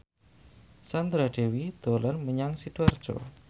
Sandra Dewi dolan menyang Sidoarjo